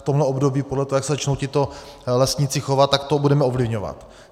V tomhle období podle toho, jak se začnou tito lesníci chovat, tak to budeme ovlivňovat.